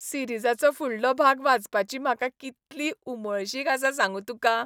सिरीजाचो फुडलो भाग वाचपाची म्हाका कितली उमळशीक आसा सांगू तुका!